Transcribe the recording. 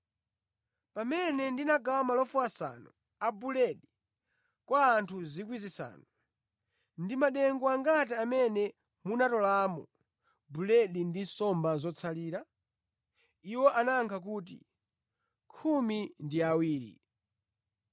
Pamene ndinagawa malofu asanu a buledi kwa anthu 5,000, ndi madengu angati amene munatoleramo buledi ndi nsomba zotsalira?” Iwo anayankha kuti, “Khumi ndi awiri.”